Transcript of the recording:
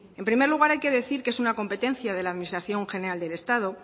en primer lugar hay que decir que es una competencia de la administración general del estado